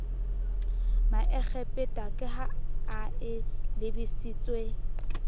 maekgepeta ka ha e lebisitswe